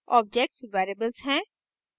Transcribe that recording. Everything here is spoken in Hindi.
objects variables हैं